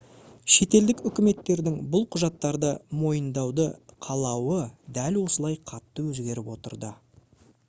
шетелдік үкіметтердің бұл құжаттарды мойындауды қалауы дәл осылай қатты өзгеріп отырады